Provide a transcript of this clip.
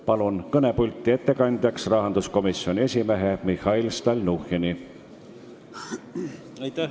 Palun ettekandeks kõnepulti rahanduskomisjoni esimehe Mihhail Stalnuhhini!